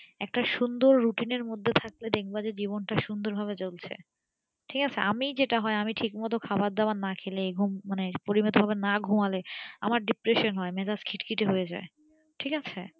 একটা সুন্দর routine মধ্যে থাকলে দেখবা জীবনটা সুন্দর ভাবে চলছে ঠিক আছে আমি যেটা হয় আমি ঠিক মতো হয় আমি ঠিক মতো খাবার দাবার না খেলে ঘুম মানে পরিমিত ভাবে না ঘুমালে আমার depression হয় আমার মেজাজ খিটখিটে হয়ে যাই ঠিক আছে